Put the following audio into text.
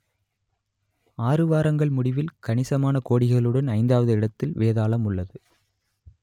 ஆறு வாரங்கள் முடிவில் கணிசமான கோடிகளுடன் ஐந்தாவது இடத்தில் வேதாளம் உள்ளது